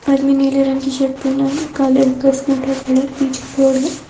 आदमी नीले रंग की शर्ट पहनना काले कलर का स्कूटर खड़ा पीछे पेड़ है।